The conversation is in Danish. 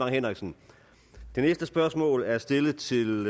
henriksen det næste spørgsmål er stillet stillet